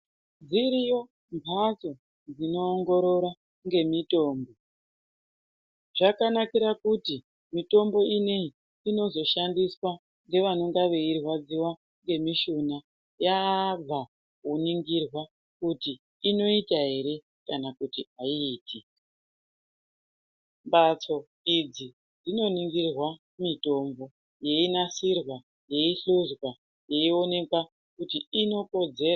Dziriyo mbatso dzinoongorora ngemitombo ,zvakanakira kuti mitombo ine iyi inozoshandiswa nevanonga veirwadziwa ngemishuna yabva kuningirwa kuti inoita here kana kuti haiiti. Mbatso idzi dzinoningirwa mitombo, yeinasirwa, yeihluzwa, yeionekwa kuti inokodzera.